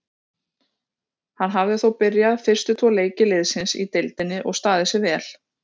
Hann hafði þó byrjað fyrstu tvo leiki liðsins í deildinni og staðið sig vel.